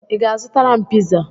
I ga-azụtara m piza?